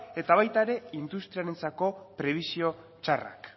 eta baita industriarentzako prebisio txarrak